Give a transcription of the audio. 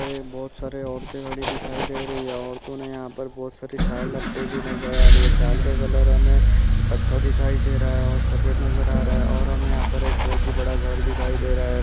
और यहाँ बहुत सारी औरतें खड़ी दिखाई दे रही है। औरतों ने यहाँ पर बहुत सारी सॉल लपटे हुए नजर आ रहा है। साल का कलर हमें कथ्य दिखाई दे रहा है। और सफेद नजर आ रहा है। और यहाँ हमें बहुत ही बड़ा घर दिखाई दे रहा है।